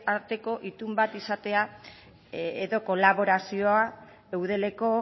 arteko itun bat izatea edo kolaborazioa eudeleko